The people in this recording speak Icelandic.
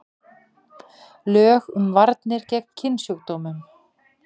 Lög um varnir gegn kynsjúkdómum.